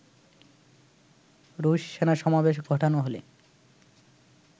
রুশ সেনাসমাবেশ ঘটানো হলে